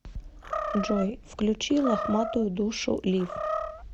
джой включи лохматую душу лив